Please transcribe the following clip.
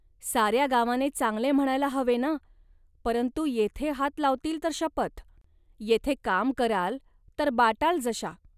साऱ्या गावाने चांगले म्हणायला हवे ना, परंतु येथे हात लावतील तर शपथ. येथे काम कराल, तर बाटाल जशा